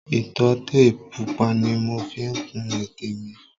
Ìtọ́tè pupa ni mo fi kun ètè mi